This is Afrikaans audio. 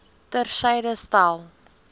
ter syde stel